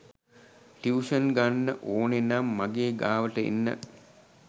Tuition ගන්න ඕනෙනං මගේ ගාවට එන්න.